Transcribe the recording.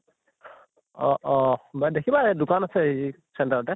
অʼ অʼ বা দেখিবাই দোকান আছে হেৰি center অতে